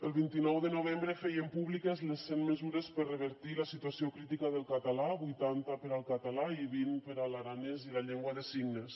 el vint nou de novembre feien públiques les cent mesures per revertir la situació crítica del català vuitanta per al català i vint per a l’aranès i la llengua de signes